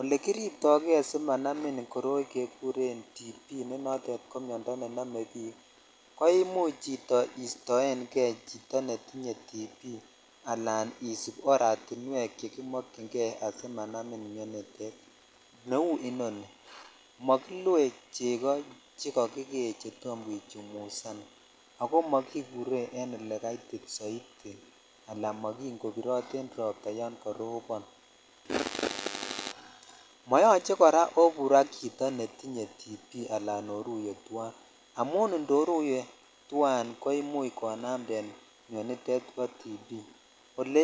Olekirto kei simanamin koroi kekuren tb nenotet ko miondoo ne nome bik ko imuch chito istoen kei chito netinye tb alan isib oratinwek chekiokyin kei amanamin neu inoni makilue cheko che kakikeecheto kichumusan ako mokipendotee en ole kaitit matin kobirin ropta yan karobon moyoche kora obur ak chito netinye tb alan oruyee tuan amun itoruye tuan ko imuch konamten miondoo